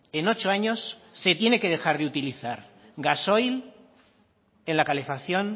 en ocho años se tiene que dejar de utilizar gasoil en la calefacción